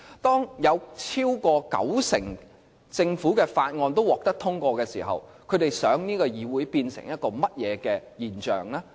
當有超過九成政府法案都獲得通過時，他們想這個議會變成甚麼現象呢？